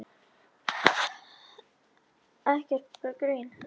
Agnes rekur upp mikla roku eins og alltaf þegar hún ræður ekki við sig.